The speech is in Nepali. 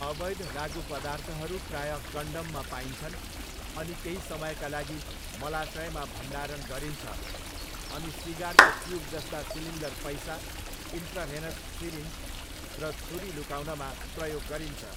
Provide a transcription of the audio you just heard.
अवैध लागुपदार्थहरू प्रायः कन्डममा पाइन्छन् अनि केही समयका लागि मलाशयमा भण्डारण गरिन्छ अनि सिगारको ट्युब जस्ता सिलिन्डर पैसा, इन्ट्राभेनस सिरिन्ज र छुरी लुकाउनमा प्रयोग गरिन्छ।